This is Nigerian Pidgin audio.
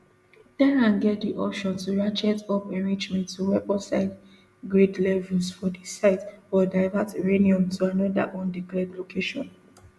tehran get di option to ratchet up enrichment to weaponsgrade levels for di site or divert uranium to anoda undeclared location